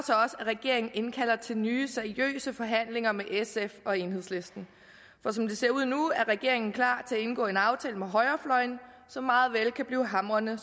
at regeringen indkalder til nye seriøse forhandlinger med sf og enhedslisten for som det ser ud nu er regeringen klar til at indgå en aftale med højrefløjen som meget vel kan blive hamrende